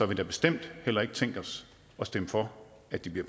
vi da bestemt heller ikke tænkt os at stemme for at de bliver